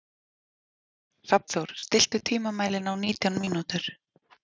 Hrafnþór, stilltu tímamælinn á nítján mínútur.